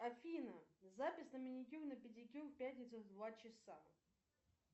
афина запись на маникюр на педикюр в пятницу в два часа